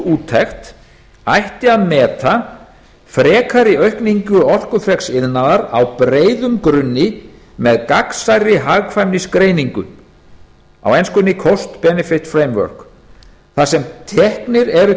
úttekt ætti að meta frekari aukningu orkufreks iðnaðar á breiðum grunni með gagnsærri hagkvæmnisgreiningu á enskunni cost benefit framework þar sem teknir eru